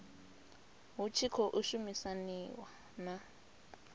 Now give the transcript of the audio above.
hu tshi khou shumisaniwa na